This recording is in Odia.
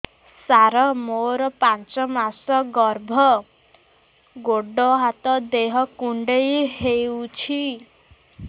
ସାର ମୋର ପାଞ୍ଚ ମାସ ଗର୍ଭ ଗୋଡ ହାତ ଦେହ କୁଣ୍ଡେଇ ହେଉଛି